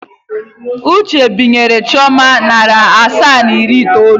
Uche binyere Chioma narị asaa na iri itoolu.